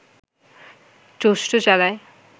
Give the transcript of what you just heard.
চষ্টো চালায়